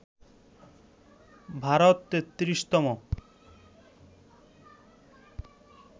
Bharat ৩৩তম